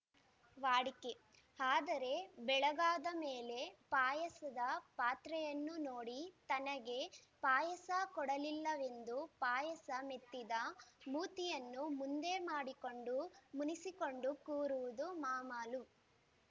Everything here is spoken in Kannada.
ವಾಡಿಕೆ ಆದರೆ ಬೆಳಗಾದ ಮೇಲೆ ಪಾಯಸದ ಪಾತ್ರೆಯನ್ನು ನೋಡಿ ತನಗೆ ಪಾಯಸ ಕೊಡಲಿಲ್ಲವೆಂದೂ ಪಾಯಸ ಮೆತ್ತಿದ ಮೂತಿಯನ್ನು ಮುಂದೆ ಮಾಡಿಕೊಂಡು ಮುನಿಸಿಕೊಂಡು ಕೂರುವುದು ಮಾಮಾಲು